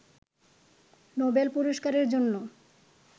Nobel পুরস্কারের জন্য